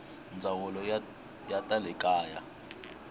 ndzawulo ya ta le kaya